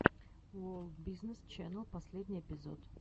ворлд бизнес ченел последний эпизод